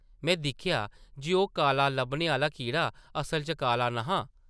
में दिक्खेआ जे ओह् काला लब्भने आह्ला कीड़ा असल च काला न’हा ।